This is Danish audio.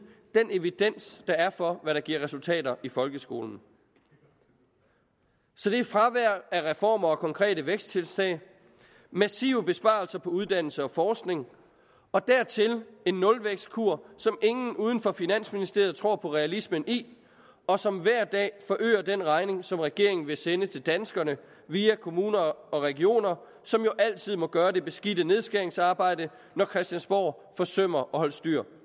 den evidens der er for hvad der giver resultater i folkeskolen så der er fravær af reformer og konkrete væksttiltag massive besparelser på uddannelse og forskning og dertil en nulvækstkur som ingen uden for finansministeriet tror på realismen i og som hver dag forøger den regning som regeringen vil sende til danskerne via kommuner og regioner som jo altid må gøre det beskidte nedskæringsarbejde når christiansborg forsømmer at holde styr